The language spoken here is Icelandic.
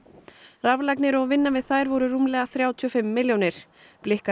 raflagnir og vinna við þær voru rúmlega þrjátíu og fimm milljónir